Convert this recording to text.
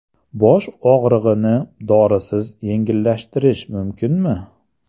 Bosh og‘rig‘ini dorisiz yengillashtirish mumkinmi?